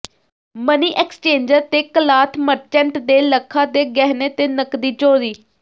money exchanger ਤੇ cloth merchant ਦੇ ਲੱਖਾਂ ਦੇ ਗਹਿਣੇ ਤੇ ਨਕਦੀ ਚੋਰੀ